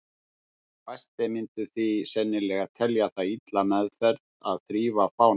Fæstir myndu því sennilega telja það illa meðferð að þrífa fánann.